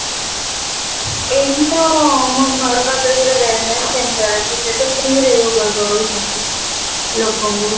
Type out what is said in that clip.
ଏଇଠି ତ ଆମ ଘର ପାଖରେ ଗୋଟେ center ଅଛି ସେ ତ freeରେ yoga କରଉଚନ୍ତି ଲୋକଙ୍କୁ